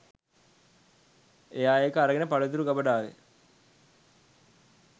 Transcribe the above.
එයා ඒක අරගෙන පළතුරු ගබඩාවෙ